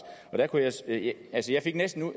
altså jeg fik næsten